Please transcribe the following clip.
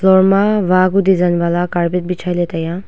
ema waku design wala carpet bejai le taiya.